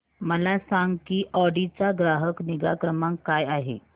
मला सांग की ऑडी चा ग्राहक निगा क्रमांक काय आहे